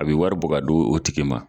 A be wari bo ka do o tigi ma